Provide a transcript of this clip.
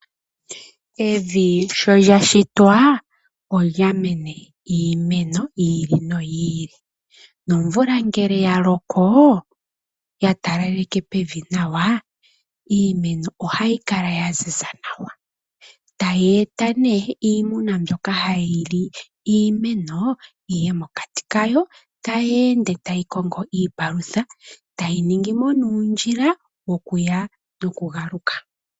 Evi sholyashitwa olya mene iimeno yi ili noyi ili nomvula ngele ya loko ya talalekw pevi nawa iimeno ohayi kala ya ziza nawa tayi eta nee iimeno mbyoka hayilu iimeno yiye mokati kayo tayi ende tayi kongo iipalutha ,tayi ningi mo uundjila wokuya noku galuka.